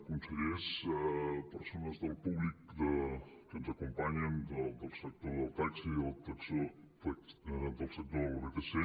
consellers persones del públic que ens acompanyen del sector del taxi del sector de les vtc